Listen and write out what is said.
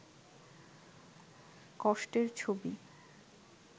কষ্টের ছবি